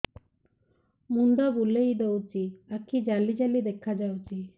ମୁଣ୍ଡ ବୁଲେଇ ଦଉଚି ଆଖି ଜାଲି ଜାଲି ଦେଖା ଯାଉଚି